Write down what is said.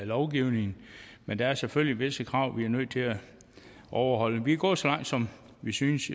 lovgivningen men der er selvfølgelig visse krav vi er nødt til at overholde vi er gået så langt som vi synes